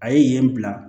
A ye yen bila